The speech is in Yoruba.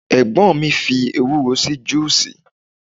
egbon fi ewuro se juices